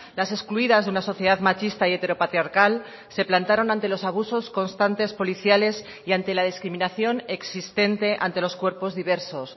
las excluidas de una sociedad machista y heteropatriarcal se plantaron ante los abusos constantes policiales y ante la discriminación existente ante los cuerpos diversos